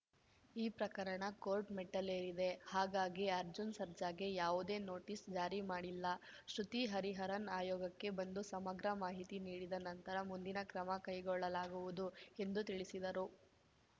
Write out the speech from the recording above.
ಈ ಪ್ರಕರಣ ಕೋರ್ಟ್‌ ಮೆಟ್ಟಿಲೇರಿದೆ ಹಾಗಾಗಿ ಅರ್ಜುನ್‌ ಸರ್ಜಾಗೆ ಯಾವುದೇ ನೋಟಿಸ್‌ ಜಾರಿ ಮಾಡಿಲ್ಲ ಶ್ರುತಿ ಹರಿಹರನ್‌ ಆಯೋಗಕ್ಕೆ ಬಂದು ಸಮಗ್ರ ಮಾಹಿತಿ ನೀಡಿದ ನಂತರ ಮುಂದಿನ ಕ್ರಮ ಕೈಗೊಳ್ಳಲಾಗುವುದು ಎಂದು ತಿಳಿಸಿದರು